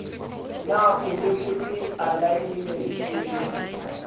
na o lekotse alaenemente le